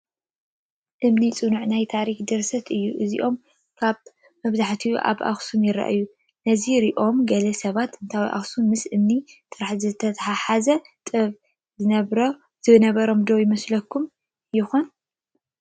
እምኒ ፅኑዕ ናይ ታሪክ ድርሳን እዩ፡፡ እዚኦም ከዓ ብብዝሒ ኣብ ኣኽሱም ይርአዩ፡፡ ነዚ ሪኦም ገለ ሰባት ጥንታዊት ኣኽሱም ምስ እምኒ ጥራሕ ዝተተሓሓዘ ጥበብ ዝነበራ ዶ ይመስሎም ይኾን?